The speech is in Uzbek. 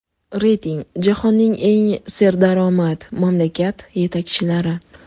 Reyting: Jahonning eng serdaromad mamlakat yetakchilari.